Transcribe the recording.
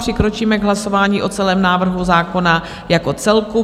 Přikročíme k hlasování o celém návrhu zákona jako celku.